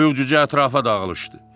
Toyuq cücə ətrafa dağılışdı.